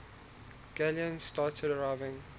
galleons started arriving